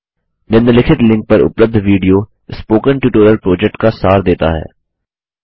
निम्नलिखित लिंक पर उपलब्ध विडियो स्पोकन ट्यूटोरियल प्रोजेक्ट का सार देता है